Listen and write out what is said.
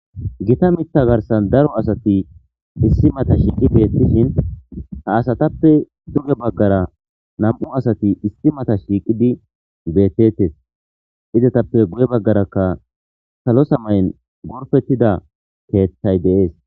Gita mitta garsan daro asati issi mata shiiqi beettishin ha asatappe duge baggara nam7u asati issi mata shiiqidi beettettes izetappe guye baggarakka salo samayn gorfettida teettay deees